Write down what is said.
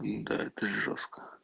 нда это жёстко